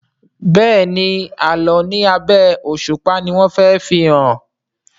Béèni Àlọ ní abé òṣùpá ní wón fè fihàn.